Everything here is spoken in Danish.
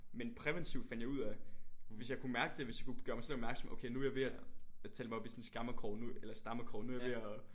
Men præventivt fandt jeg ud af hvis jeg kunne mærke det hvis jeg kunne gøre mig selv opmærksom okay nu jeg ved at at tale mig op i sådan en skammekrog eller stammekrog nu er jeg ved at